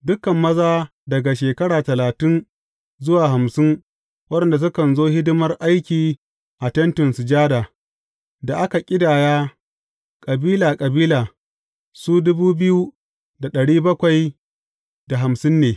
Dukan maza daga shekara talatin zuwa hamsin waɗanda sukan zo hidimar aiki a Tentin Sujada, da aka ƙidaya, kabila kabila, su ne.